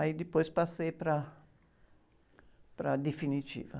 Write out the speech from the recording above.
Aí depois passei para, para definitiva.